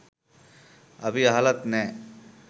අපි අහලත් නැහැ